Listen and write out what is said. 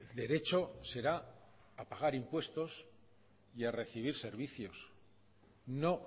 derecho será a pagar impuestos y a recibir servicios no